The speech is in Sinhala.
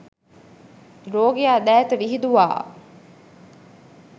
රෝගියා දෑත විහිදුවා